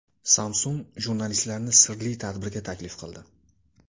Samsung jurnalistlarni sirli tadbirga taklif qildi.